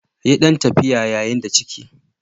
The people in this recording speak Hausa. Yi ɗan tafiya yayin da ciki.